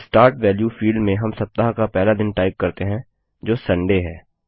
start value field में हम सप्ताह का पहला दिन टाइप करते हैं जो सुंदय है